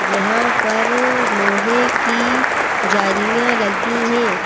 जहां पर लोहे की जालियां लगी हैं।